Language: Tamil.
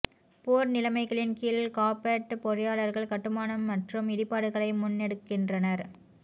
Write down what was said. போர் நிலைமைகளின் கீழ் காபட் பொறியாளர்கள் கட்டுமானம் மற்றும் இடிபாடுகளை முன்னெடுக்கின்றனர்